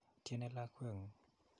Tyene lakwet ng'ung'.